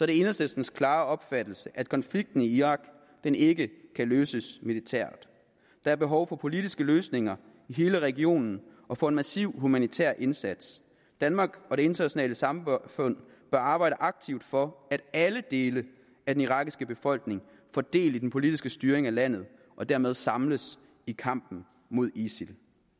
det enhedslistens klare opfattelse at konflikten i irak ikke kan løses militært der er behov for politiske løsninger i hele regionen og for en massiv humanitær indsats danmark og det internationale samfunde bør arbejde aktivt for at alle dele af den irakiske befolkning får del i den politiske styring af landet og dermed samles i kampen mod isil